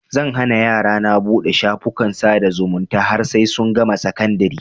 Zan hana yarana buɗe shafukan sada zumunta har sai sun gama sakandari